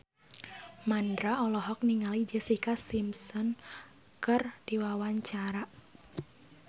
Mandra olohok ningali Jessica Simpson keur diwawancara